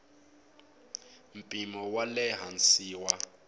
mpimo wa le hansi wa